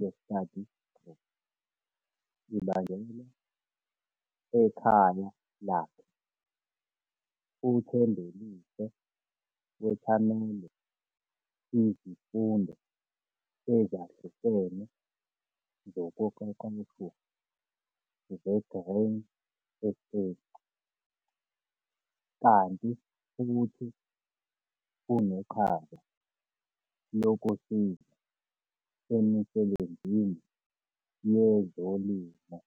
ye-study group ibanjelwa ekhaya lakhe. UThembelihle wethamele izifundo ezahlukene zokuqeqeshwa ze-Grain SA kanti futhi uneqhaza lokusiza emisebenzini yezolimo.